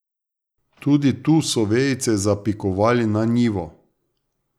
Tudi tu so vejice zapikovali na njivo.